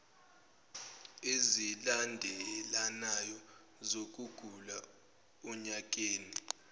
ezilandelanayo zokugula onyakeni